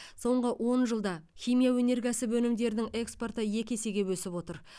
соңғы он жылда химия өнеркәсібі өнімдерінің экспорты екі есеге өсіп отыр